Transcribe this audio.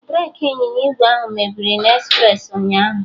Breki ịnyịnya ígwè ahụ mebiri na espresi ụnyaahụ